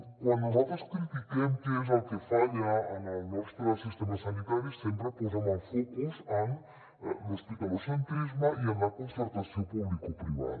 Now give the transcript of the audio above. quan nosaltres critiquem què és el que falla en el nostre sistema sanitari sempre posem el focus en l’hospitalocentrisme i en la concertació publicoprivada